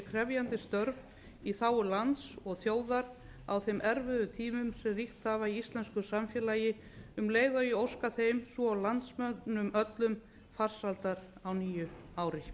krefjandi störf í þágu lands og þjóðar á þeim erfiðu tímum sem ríkt hafa í íslensku samfélagi um leið og ég óska þeim svo og landsmönnum öllum farsældar á nýju ári